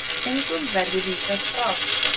Engum verði vísað frá.